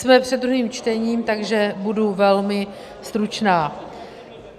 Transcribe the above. Jsme před druhým čtením, takže bude velmi stručná.